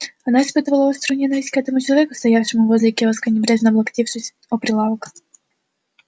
она испытывала острую ненависть к этому человеку стоявшему возле киоска небрежно облокотившись о прилавок